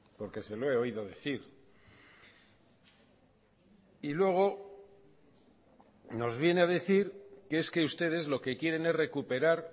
porque se lo he oído decir y luego nos viene a decir que es que ustedes lo que quieren es recuperar